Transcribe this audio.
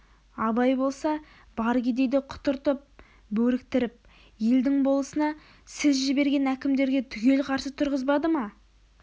абай болса бар кедейді құтыртып бөріктіріп елдің болысына сіз жіберген әкімдерге түгел қарсы тұрғызбады ма